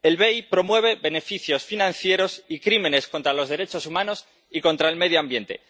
El BEI promueve beneficios financieros y crímenes contra los derechos humanos y contra el medio ambiente.